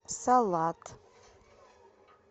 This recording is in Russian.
салат